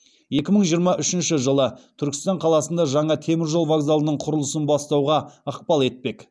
екі мың жиырма үшінші жылы түркістан қаласында жаңа темір жол вокзалының құрылысын бастауға ықпал етпек